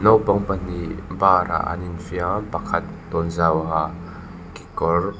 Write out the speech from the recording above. naupang pahnih bar ah an in fiam pakhat tawnzau ha kekawr --